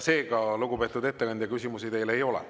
Seega, lugupeetud ettekandja, küsimusi teile ei ole.